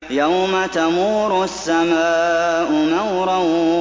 يَوْمَ تَمُورُ السَّمَاءُ مَوْرًا